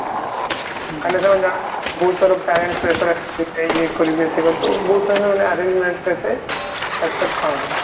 କାରଣ ସେମାନେ ଜାଣନ୍ତି ବହୁତ ସାରା parents pressure rise କରିବେ ଇଏ କରିବେ ବହୁତ ସାରା ସେମାନେ arrange marriage କୁ ଏତେ accept କରନ୍ତି ନି